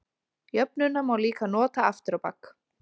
Jöfnuna má líka nota aftur á bak.